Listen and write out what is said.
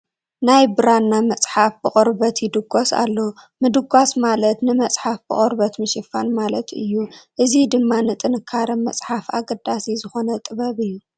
ናይ ብራና መፅሓፍ ብቖርበት ይድጐስ ኣሎ፡፡ ምድጓስ ማለት ንመፅሓፍ ብቖርበት ምሽፋን ማለት እዩ፡፡ እዚ ድማ ንጥንካረ መፅሓፍ ኣገዳሲ ዝኾነ ጥበብ እዩ፡፡